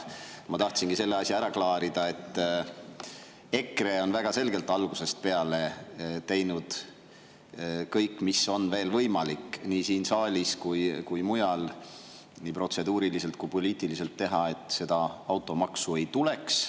Ma tahtsingi selle asja ära klaarida, et EKRE on väga selgelt algusest peale teinud kõik, mis on vähegi võimalik nii siin saalis kui mujal nii protseduuriliselt kui ka poliitiliselt teha, et seda automaksu ei tuleks.